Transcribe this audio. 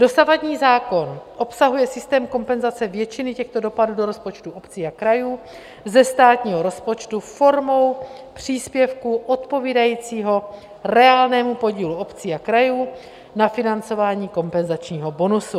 Dosavadní zákon obsahuje systém kompenzace většiny těchto dopadů do rozpočtu obcí a krajů ze státního rozpočtu formou příspěvku odpovídajícího reálnému podílu obcí a krajů na financování kompenzačního bonusu.